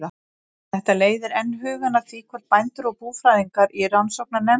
Þetta leiðir enn hugann að því, hvort bændur og búfræðingar í rannsóknarnefnd